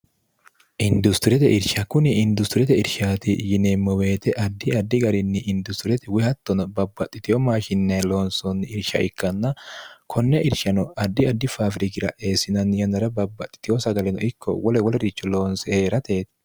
industiriyete irsha kuni industiriyete irshaati yineemmo weete addi addi garinni industiriyete woyihattono babbaxxiteyo maashinnae loonsoonni irsha ikkanna konne irshano addi addi faafirigira eessinanni yannara babbaxxitiyo sagaleno ikko wole wolericho loonse hee'rate